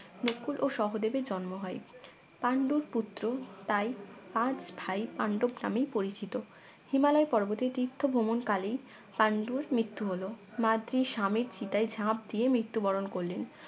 নকুল ও সহদেবের জন্ম হয় পান্ডুর পুত্র তাই পাঁচ ভাই পাণ্ডব নামেই পরিচিত হিমালয় পর্বতে তীর্থ ভ্রমণকালেই পান্ডুর মৃত্যু হল মাদ্রি স্বামীর চিতায় ঝাপ দিয়ে মৃত্যুবরণ করলেন